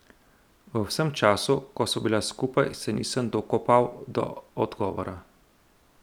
V vsem času, ko sva bila skupaj, se nisem dokopal do odgovora.